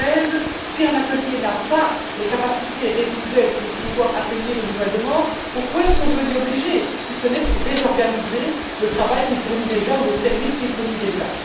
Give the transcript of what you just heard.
13. Si un atelier n'a pas les capacités résiduelles pour pouvoir accueillir une nouvelle demande, pourquoi est ce qu'on veut l'y obliger, si ce n'est pour désorganiser le travail qu'il fournit déjà ou le service qu'il fournit déjà?